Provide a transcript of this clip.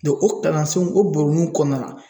o kalansenw o baroninw kɔnɔna na